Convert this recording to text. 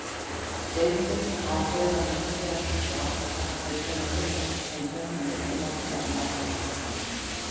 Deildin á þegar vísi að slíku áhaldasafni, sem kemur að litlum notum vegna algers húsnæðisleysis.